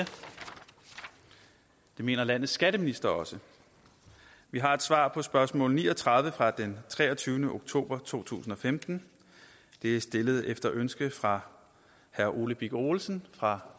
mener landets skatteminister også vi har et svar på spørgsmål ni og tredive fra den treogtyvende oktober to tusind og femten det er stillet efter ønske fra herre ole birk olesen fra